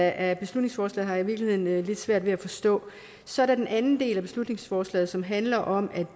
af beslutningsforslaget har jeg i virkeligheden lidt svært ved at forstå så er der den anden del af beslutningsforslaget som handler om at